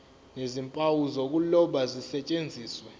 nezimpawu zokuloba zisetshenziswe